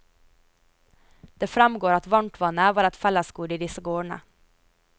Det fremgår at varmtvannet var et fellesgode i disse gårdene.